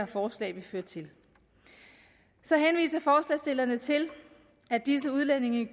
forslag vil føre til så henviser forslagsstillerne til at disse udlændinge